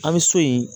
An bɛ so yen